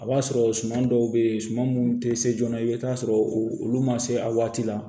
A b'a sɔrɔ suma dɔw bɛ yen suman minnu tɛ se joona i bɛ taa sɔrɔ olu ma se a waati la